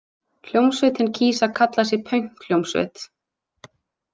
Hljómsveitin kýs að kalla sig paunkhljómsveit.